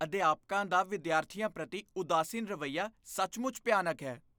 ਅਧਿਆਪਕਾਂ ਦਾ ਵਿਦਿਆਰਥੀਆਂ ਪ੍ਰਤੀ ਉਦਾਸੀਨ ਰਵੱਈਆ ਸੱਚਮੁੱਚ ਭਿਆਨਕ ਹੈ।